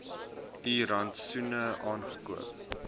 u rantsoene aangekoop